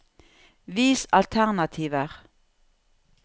Vis alternativer